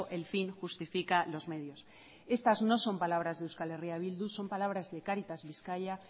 el fin justifica los medios estas no son palabras de euskal herria bildu son palabras de cáritas bizkaia